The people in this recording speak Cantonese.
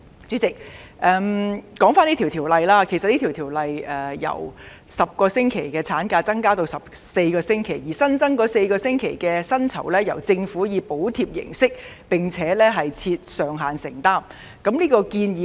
主席，回到《條例草案》建議的修訂，即由10個星期產假延長至14個星期，而額外產假薪酬由政府以報銷並設上限的形式承擔。